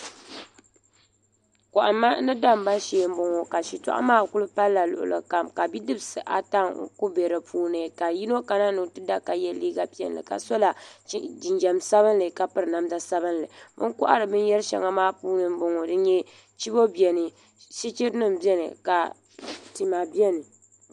Kohamma ni damma shee m boŋɔ shitɔɣu maa kuli palila luɣuli kam bidibsi ata n kuli be dipuuni ka yino kana ni o ti da ka ye liiga piɛlli ka sola jinjiɛm sabinli ka piri namda sabinli o ni kohari binyera sheli maa puuni sheli m boŋɔ dini n nyɛ chibo biɛni sichiri nima biɛni ka tima biɛni.